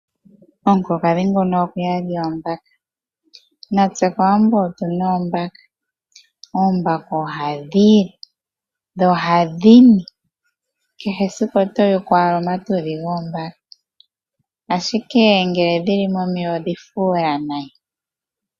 Omukulukadhi nguno oku udha oombaka, natse kOwambo otu na oombaka. Oombaka ohadhi li, dho ohadhi ni. Kehe esiku oto yuku owala omatudhi goombaka, ashike ngele dhi li momeya ohadhi fuula nayi.